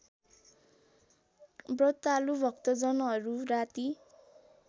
व्रतालु भक्तजनहरू राती